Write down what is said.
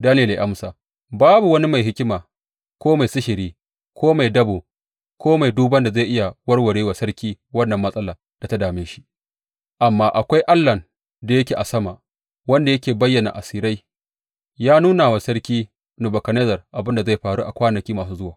Daniyel ya amsa, Babu wani mai hikima, ko mai sihiri, ko mai dabo ko mai duban da zai iya warware wa sarki wannan matsala da ta dame shi, amma akwai Allahn da yake a sama wanda yake bayyana asirai, ya nuna wa sarki Nebukadnezzar abin da zai faru a kwanaki masu zuwa.